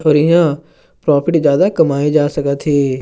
अऊ इमा प्रॉपर्टी जादा कमाए जा सकत हे।